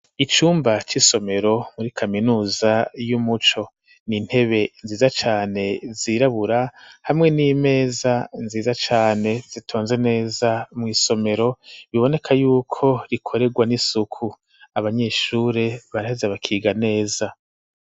Icumba c'isomero muri kaminuza y'umuco n'intebe nziza cane zirabura hamwe n'imeza nziza cane zitonze neza mw'isomero biboneka yuko rikorerwa n'isuku abanyeshure baraheze bakiga neza.